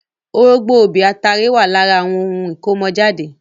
Orógbó, obì, atare wà lára ohun ìkọ́mọ jáde.